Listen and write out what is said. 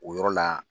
O yɔrɔ la